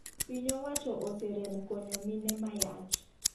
Piny owacho oserem konyo mine mayach.